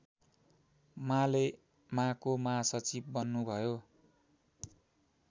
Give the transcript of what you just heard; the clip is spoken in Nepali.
मालेमाको महासचिव बन्नुभयो